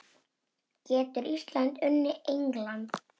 Getur Ísland unnið England?